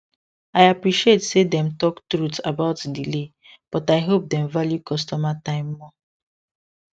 i appreciate say dem talk truth about delay but i hope dem value customer time more